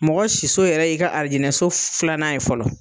Mɔgɔ siso yɛrɛ i ka alijinɛso filanan ye fɔlɔ.